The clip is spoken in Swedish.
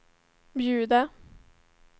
bjuda